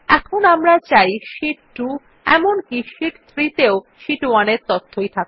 এখন আমরা চাই শীট 2 এমনকি শীট 3 তেও শীট 1 তথ্যই দেখাক